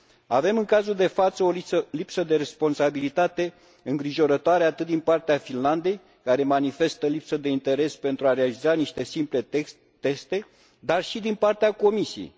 Avem, în cazul de față, o lipsă de responsabilitate îngrijorătoare, atât din partea Finlandei, care manifestă lipsă de interes pentru a realiza niște simple teste, cât și din partea Comisiei.